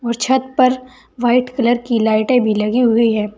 और छत पर वाइट कलर की लाइटे भी लगी हुई है।